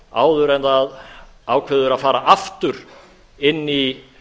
áður en það ákveður að fara aftur inn í